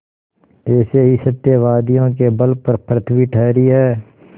ऐसे ही सत्यवादियों के बल पर पृथ्वी ठहरी है